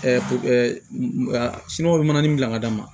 sini o bɛ manani gilan ka d'a ma